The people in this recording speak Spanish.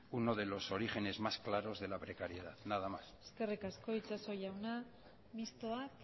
uno de los origen es más claros de la precariedad nada más eskerrik asko itxaso jauna mistoak